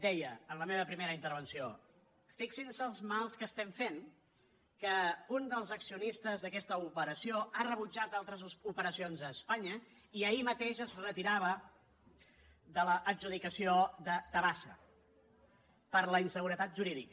deia en la meva primera intervenció fixin se els mals que estem fent que un dels accionistes d’aquesta operació ha rebutjat altres operacions a espanya i ahir mateix es retirava de l’adjudicació de tabasa per la inseguretat jurídica